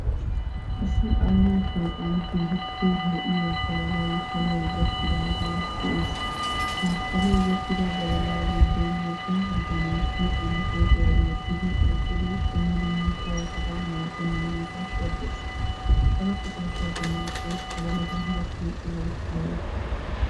Issi aaho shooqan keehippe lo"iya badalay shaliyaw gaakidaagee de'ees. Ha shaliyaw gakida badala giddon wogga bitanee huuphiyaan qophiya wottidi eqqidi dumma dumma sharafata maaddenageeta shoddees. Ha sharafata shodenakko badalata gattiyo qohoy aybbe?